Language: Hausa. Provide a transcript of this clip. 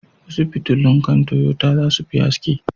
Wasu fitilun kan Toyota za su fi haske.